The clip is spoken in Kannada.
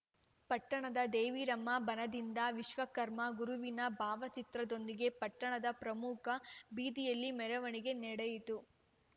ಪಟ್ಟಣದ ದೇವಿರಮ್ಮ ಬನದಿಂದ ವಿಶ್ವಕರ್ಮ ಗುರುವಿನ ಭಾವಚಿತ್ರದೊಂದಿಗೆ ಪಟ್ಟಣದ ಪ್ರಮುಖ ಬೀದಿಯಲ್ಲಿ ಮೆರವಣಿಗೆ ನಡೆಯಿತು